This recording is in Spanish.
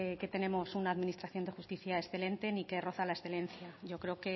que tenemos una administración de justicia excelente ni que roza la excelencia yo creo